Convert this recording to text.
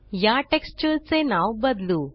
या टेक्स्चर चे नाव बदलू